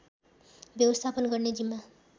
व्यवस्थापन गर्ने जिम्मा